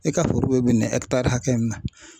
E ka foro bɛ bin nin hakɛ nin ma.